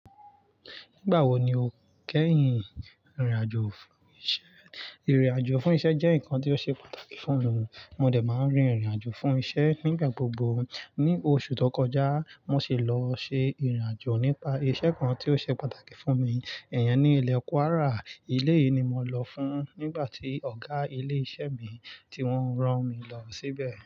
Nígbà wo ni o kẹ́yìn rìnrìn àjò fún isẹ? Irin àjò fún iṣẹ́ jẹ́ nǹkan ti o ṣe pàtàkì fún mi. Mo dè máa ń rin ìrìn àjò fún iṣẹ́ nígbà gbogbo. Ni oṣù tó kọjá mo sì lọ ṣe ìrìn àjò nípa isẹ kan tí o ṣe pàtàkì fún mi, iyen ni ilẹ̀ Kwara. Eleyìí ni mo lọ fun nígbà tí ọ̀gá ilé iṣẹ́ mi tí wọ́n rán mi lọ síbẹ̀.